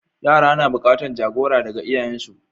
Yara na buƙatan jagora daga iyayensu.